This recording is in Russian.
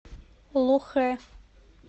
лохэ